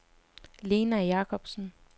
Lena Jacobsen